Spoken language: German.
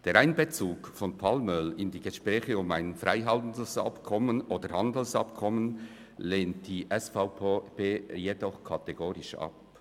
Den Einbezug von Palmöl in die Gespräche über ein Freihandels- oder Handelsabkommen lehnt die SVP jedoch kategorisch ab.